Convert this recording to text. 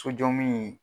Sojɔminɛn